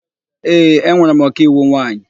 Ee, enwere m ọkaiwu nwaanyị.